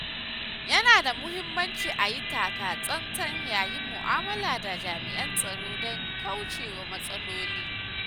Yana da muhimmanci a yi taka tsantsan yayin mu’amala da jami’an tsaro don kaucewa matsaloli.